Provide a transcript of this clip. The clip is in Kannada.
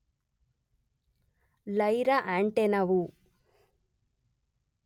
ಲೈರ ಆಂಟೆನವು